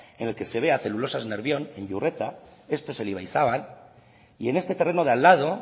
en el que se ve a celulosas nervión en iurreta esto es el ibaizabal y en este terreno de al lado